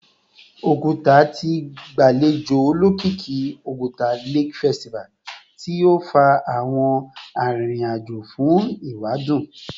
Oguta ti gbalejo olokiki Oguta Lake Festival ti o fa awọn aririn ajo fun ewadun